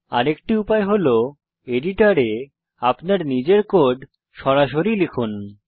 আরেকটি উপায় হল এডিটরে আপনার নিজের কোড সরাসরি লিখুন